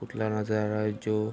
पुतला नज़र आ रहा है जो --